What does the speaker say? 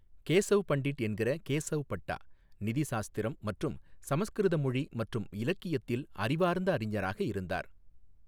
கேசவ் பண்டிட் என்கிற கேசவ் பட்டா, நிதிசாஸ்திரம் மற்றும் சமஸ்கிருத மொழி மற்றும் இலக்கியத்தில் அறிவார்ந்த அறிஞராக இருந்தார்.